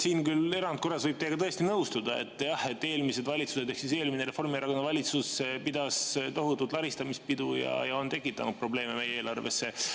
Siin, küll erandkorras, võib teiega tõesti nõustuda, et eelmised valitsused ehk eelmine Reformierakonna valitsus pidas tohutut laristamispidu ja on tekitanud probleeme meie eelarvesse.